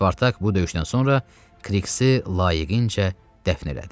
Spartak bu döyüşdən sonra Kriksi layiqincə dəfn elədi.